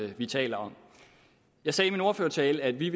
vi taler om jeg sagde i min ordførertale at vi